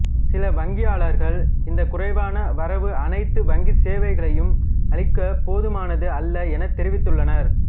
சில வங்கியாளர்கள் இந்தக் குறைவான வரவு அனைத்து வங்கிச் சேவைகளையும் அளிக்கப் போதுமானது அல்ல எனத் தெரிவித்துள்ளனர்